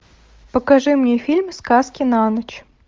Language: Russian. покажи мне фильм сказки на ночь